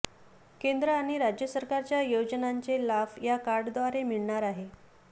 केंद्र आणि राज्य सरकारच्या योजनांचे लाभ या कार्डद्वारे मिळणार आहे